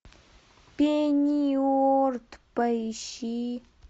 пенниуорт поищи